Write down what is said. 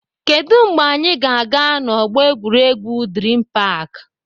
Kedụ mgbe anyị ga-aga na ọgbọ egwuregwu Dream park?